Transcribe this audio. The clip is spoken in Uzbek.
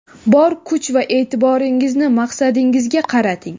bor kuch va e’tiboringizni maqsadingizga qarating.